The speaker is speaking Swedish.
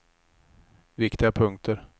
viktiga punkter